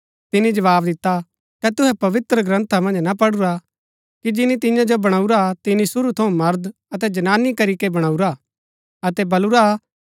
तिनी जवाव दिता कै तुहै पवित्रग्रन्था मन्ज ना पढुरा कि जिनी तियां जो बणाऊरा तिनी शुरू थऊँ मर्द अतै जनानी करी कै वणाऊरा अतै बलूरा कि